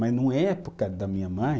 Mas na época da minha mãe,